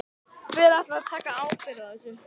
Hver ætlar að taka ábyrgð á þessu?